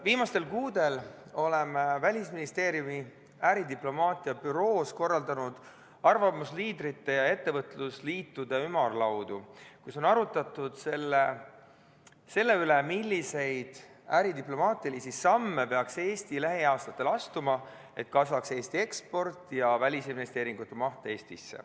Viimastel kuudel me oleme Välisministeeriumi äridiplomaatia büroos korraldanud arvamusliidrite ja ettevõtlusliitude ümarlaudu, kus on arutatud selle üle, milliseid äridiplomaatilisi samme peaks Eesti lähiaastatel astuma, et kasvaks Eesti eksport ja Eestisse tehtavate välisinvesteeringute maht.